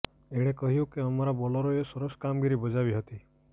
એણે કહ્યું કે અમારા બોલરોએ સરસ કામગીરી બજાવી હતી